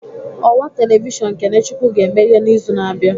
Ọwa telivishọn KeneChukwu ga-emeghe n'izu na-abịa